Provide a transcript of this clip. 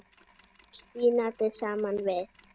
og spínati saman við.